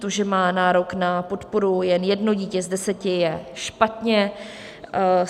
To, že má nárok na podporu jen jedno dítě z deseti, je špatně.